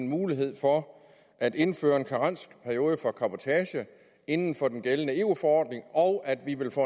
mulighed for at indføre en karensperiode for cabotage inden for den gældende eu forordning og at vi vil få